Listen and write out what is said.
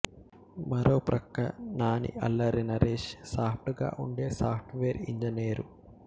మరో ప్రక్క నానిఅల్లరి నరేష్ సాప్ట్ గా ఉండే సాఫ్ట్ వేర్ ఇంజినీరు